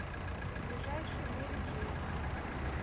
ближайший мэри джэйн